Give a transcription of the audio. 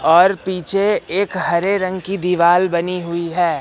और पीछे एक हरे रंग की दीवाल बनी हुई हैं।